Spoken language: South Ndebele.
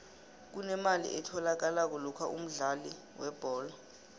kunemali etholakalako lokha umdlali webholo